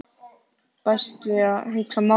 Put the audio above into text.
Best að hugsa málið.